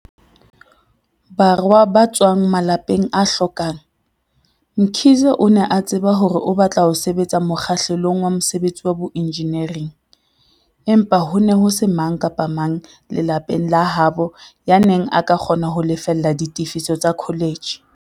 Borwa ba tswang malapeng a hlokang, Mkhize o ne a tseba hore o batla ho sebetsa mokgahlelong wa mosebetsi wa boenjenieri, empa ho ne ho se mang kapa mang lelapeng la habo yaneng a ka kgona ho lefella ditefiso tsa kholetjhe.